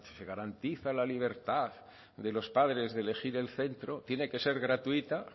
se garantiza la libertad de los padres de elegir el centro tiene que ser gratuita